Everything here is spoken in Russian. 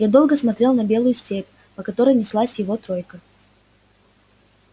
я долго смотрел на белую степь по которой неслась его тройка